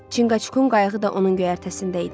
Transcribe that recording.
Çinqaçkukun qayığı da onun göyərtəsində idi.